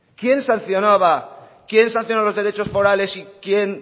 quién sancionó los derechos forales y quién